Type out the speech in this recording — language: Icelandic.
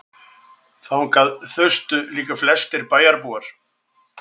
Þangað þustu líka flestir bæjarbúar.